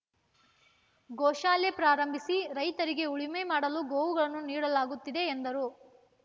ಗೋಶಾಲೆ ಪ್ರಾರಂಭಿಸಿ ರೈತರಿಗೆ ಉಳುಮೆ ಮಾಡಲು ಗೋವುಗಳನ್ನು ನೀಡಲಾಗುತ್ತಿದೆ ಎಂದರು